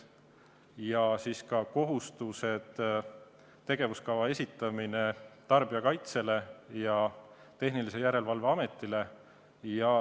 Ja ka kohustus, et tegevuskava esitatakse Tarbijakaitse ja Tehnilise Järelevalve Ametile.